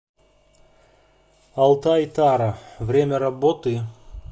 алтайтара время работы